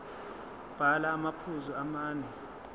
bhala amaphuzu amane